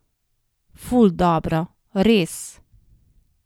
Ful dobro, res.